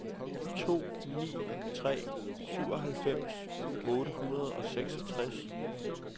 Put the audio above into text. to ni tre to syvoghalvfems otte hundrede og seksogtres